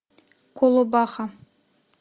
колобаха